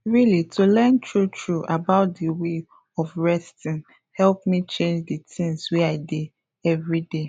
really to learn true true about d way of resting help me change d things wey i dey everyday